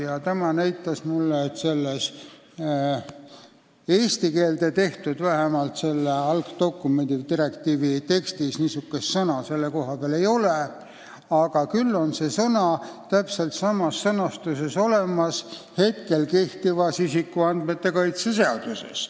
Ja tema näitas mulle, et vähemalt selles eesti keelde pandud algdokumendi, direktiivi tekstis niisugust sõna selle koha peal ei ole, küll on see täpselt samas sõnastuses olemas praegu kehtivas isikuandmete kaitse seaduses.